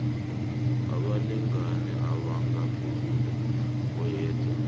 abalingani abangaphezu koyedwa